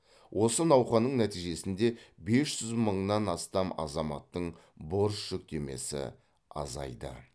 осы науқанның нәтижесінде бес жүз мыңнан астам азаматтың борыш жүктемесі азайды